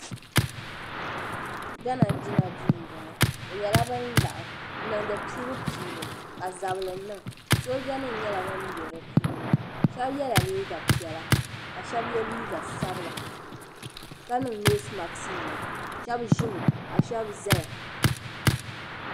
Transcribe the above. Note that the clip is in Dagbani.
Gana jina duu m bo ŋɔ bɛ nyela bin laɣim n niŋdi piibu piibu ka zabili niŋ soojanim nyela ban biɛ di puuni shɛbi yela liiga piɛla ka shɛb ye liiga sabila ka niŋ noosimaksnima shɛb ʒimi ka shɛb zaya.